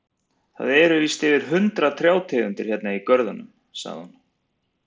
Það eru víst yfir hundrað trjátegundir hérna í görðunum, sagði hún.